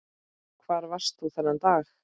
Hvar varst þú þennan dag?